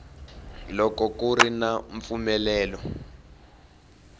loko ku ri na mpfumelelo